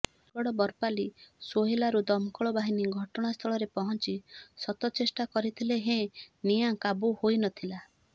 ବରଗଡ଼ ବରପାଲି ସୋହେଲାରୁ ଦମକଳ ବାହିନୀ ଘଟଣାସ୍ଥଳରେ ପହଂଚି ଶତଚେଷ୍ଟା କରିଥିଲେ ହେଁ ନିଆଁ କାବୁ ହୋଇନଥିଲା